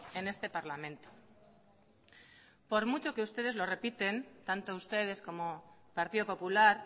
en este parlamento por mucho que ustedes lo repiten tanto ustedes como partido popular